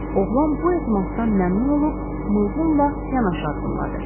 Oğlan bu etimaddan məmnun olub, Mılqınla yanaşı addımladı.